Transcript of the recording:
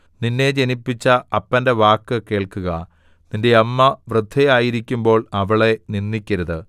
നിന്നെ ജനിപ്പിച്ച അപ്പന്റെ വാക്ക് കേൾക്കുക നിന്റെ അമ്മ വൃദ്ധയായിരിക്കുമ്പോൾ അവളെ നിന്ദിക്കരുത്